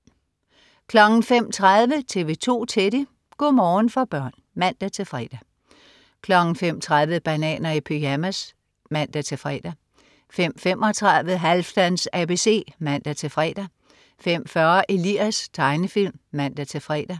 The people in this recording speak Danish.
05.30 TV 2 Teddy. Go' morgen for børn (man-fre) 05.30 Bananer i pyjamas (man-fre) 05.35 Halfdans ABC (man-fre) 05.40 Elias. Tegnefilm (man-fre)